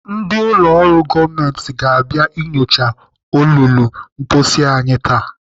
Ndị ụlọ ọrụ gọọmenti ga-abịa inyochaa olulu mposi anyị taa.